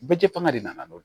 Bɛɛ tɛ fanga de nana n'o ye